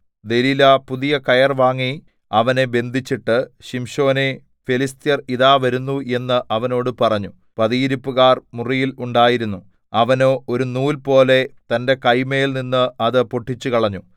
ദെലീലാ പുതിയ കയർ വാങ്ങി അവനെ ബന്ധിച്ചിട്ട് ശിംശോനേ ഫെലിസ്ത്യർ ഇതാ വരുന്നു എന്ന് അവനോട് പറഞ്ഞു പതിയിരിപ്പുകാർ മുറിയിൽ ഉണ്ടായിരുന്നു അവനോ ഒരു നൂൽപോലെ തന്റെ കൈമേൽനിന്ന് അത് പൊട്ടിച്ചുകളഞ്ഞു